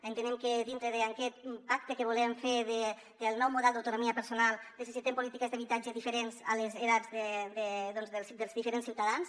entenem que dintre d’aquest pacte que volem fer del nou model d’autono·mia personal necessitem polítiques d’habitatge diferents d’acord amb les edats dels diferents ciutadans